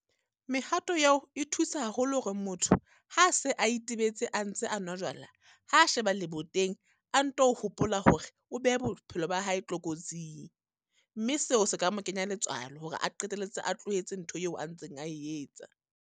Mehato eo e thusa haholo hore motho, ha se a itebetse a ntse a nwa jwala, ha a sheba leboteng. A nto hopola hore o beha bophelo ba hae tlokotsing. Mme seo se ka mo kenya letswalo hore a qetelletse a tlohetse ntho eo a ntseng a e etsa.